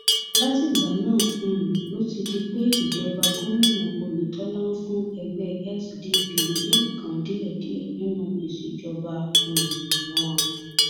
látìgbà náà um ló ti di pé ìjọba gomina oyetola ń fún ẹgbẹ sdp ní nǹkan díẹdíẹ nínú ìṣèjọba um wọn